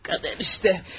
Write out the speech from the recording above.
Qədər işte.